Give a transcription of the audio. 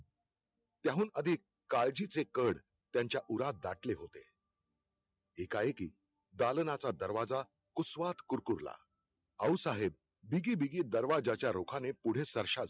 त्याहून अधिक काळजीचे कढ त्यांच्या उरात दाटले होते. एकाएकी दालनाचा दरवाजा कुसवात कुरकुरला, आऊसाहेब बीगीबीगी दरवाजाच्या रोखाने पुढे सर्श्या